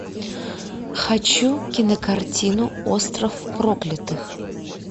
хочу кинокартину остров проклятых